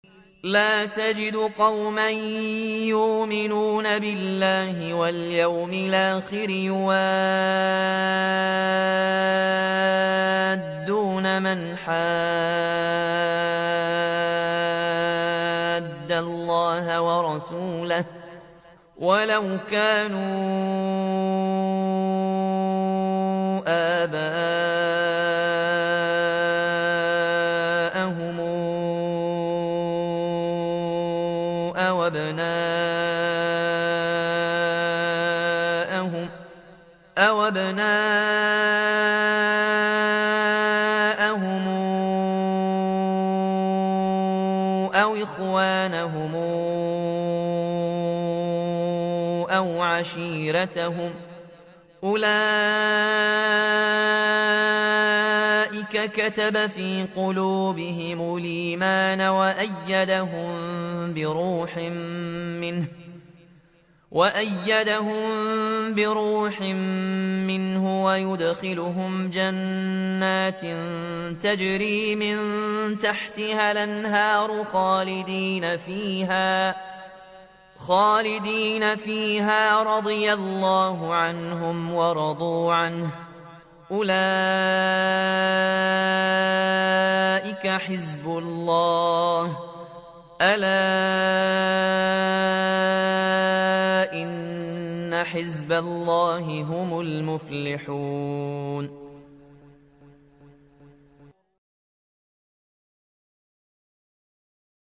لَّا تَجِدُ قَوْمًا يُؤْمِنُونَ بِاللَّهِ وَالْيَوْمِ الْآخِرِ يُوَادُّونَ مَنْ حَادَّ اللَّهَ وَرَسُولَهُ وَلَوْ كَانُوا آبَاءَهُمْ أَوْ أَبْنَاءَهُمْ أَوْ إِخْوَانَهُمْ أَوْ عَشِيرَتَهُمْ ۚ أُولَٰئِكَ كَتَبَ فِي قُلُوبِهِمُ الْإِيمَانَ وَأَيَّدَهُم بِرُوحٍ مِّنْهُ ۖ وَيُدْخِلُهُمْ جَنَّاتٍ تَجْرِي مِن تَحْتِهَا الْأَنْهَارُ خَالِدِينَ فِيهَا ۚ رَضِيَ اللَّهُ عَنْهُمْ وَرَضُوا عَنْهُ ۚ أُولَٰئِكَ حِزْبُ اللَّهِ ۚ أَلَا إِنَّ حِزْبَ اللَّهِ هُمُ الْمُفْلِحُونَ